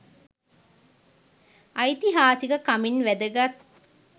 ඓතිහාසික කමින් වැදගත්